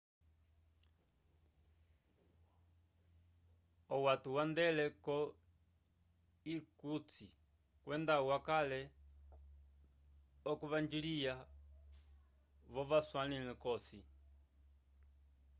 owato yandele ko irkutsk kwenda wakale okuvanjlya vo vaswalali kosi